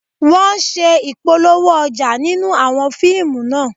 Wọ́n ṣe Ìpolówó ọjà nínú àwọn fíìmù náà